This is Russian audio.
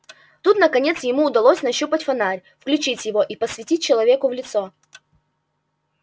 тут наконец ему удалось нащупать фонарь включить его и посветить человеку в лицо